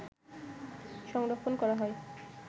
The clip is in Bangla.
সংরক্ষণ করা হয়